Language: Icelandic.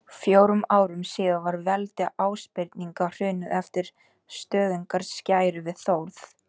Fjórum árum síðar var veldi Ásbirninga hrunið eftir stöðugar skærur við Þórð.